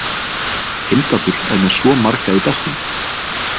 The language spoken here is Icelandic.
Heimdallur er með svo marga í beltinu.